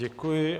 Děkuji.